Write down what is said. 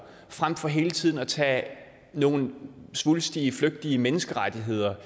frem for hele tiden at tage nogle svulstige flygtige menneskerettigheder